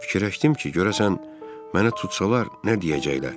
Fikirləşdim ki, görəsən mənə tutsalar nə deyəcəklər?